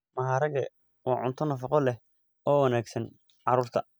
Maharage waa cunto nafaqo leh oo wanaagsan carruurta.